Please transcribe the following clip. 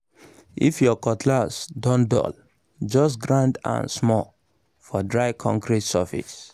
if your cutlass don dull just grind am small for dry concrete surface